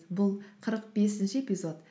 бұл қырық бесінші эпизод